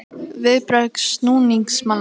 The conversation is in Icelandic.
Viðbrögð stuðningsmanna?